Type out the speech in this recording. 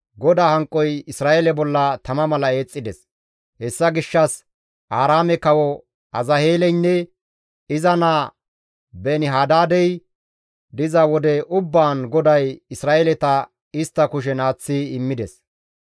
GODAA hanqoy Isra7eele bolla tama mala eexxides; hessa gishshas Aaraame kawo Azaheeleynne iza naa Beeni-Hadaadey diza wode ubbaan GODAY Isra7eeleta istta kushen aaththi immides.